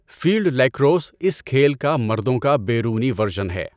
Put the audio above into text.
Field lacrosse اس کھیل کا مردوں کا بیرونی ورژن ہے۔